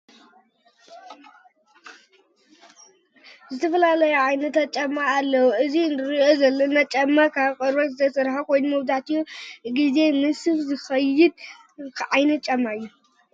ዝተፈላለዩ ዓይነታት ጫማ ኣለዉ፡፡ እዚ እንሪኦ ዘለና ጫማ ካብ ቆርበት ዝተሰርሐ ኮይኑ መብዛሕቱኡ ጊዜ ምስ ሱፍ ዝኸይድ ዓይነት ጫማ እዩ፡፡